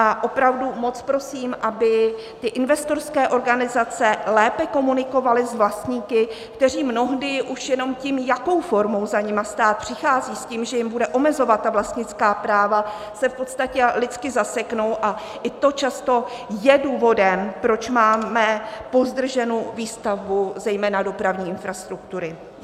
A opravdu moc prosím, aby ty investorské organizace lépe komunikovaly s vlastníky, kteří mnohdy už jenom tím, jakou formou za nimi stát přichází s tím, že jim bude omezovat vlastnická práva, se v podstatě lidsky zaseknou a i to často je důvodem, proč máme pozdrženu výstavbu zejména dopravní infrastruktury.